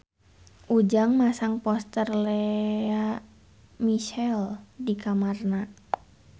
Ujang masang poster Lea Michele di kamarna